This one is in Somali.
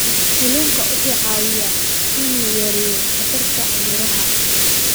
Kalluunku wuxuu caawiyaa inuu yareeyo khatarta cudurrada.